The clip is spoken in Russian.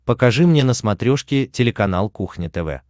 покажи мне на смотрешке телеканал кухня тв